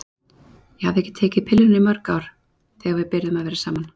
Ég hafði ekki tekið pilluna í mörg ár þegar við byrjuðum að vera saman.